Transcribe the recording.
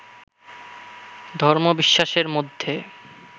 ধর্মবিশ্বাসের মধ্যে